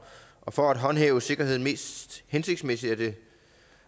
og for at håndhæve sikkerheden mest hensigtsmæssigt